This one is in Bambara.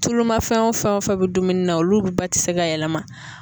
Tulu ma fɛn o fɛn o fɛn bɛ dumuni na olu ba tɛ se ka yɛlɛma.